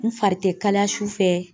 N fari te kalaya su fɛ